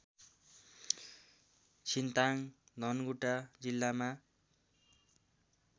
छिन्ताङ्ग धनकुटा जिल्लामा